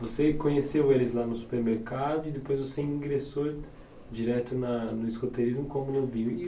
Você conheceu eles lá no supermercado e depois você ingressou direto na no escoteirismo como lobinho.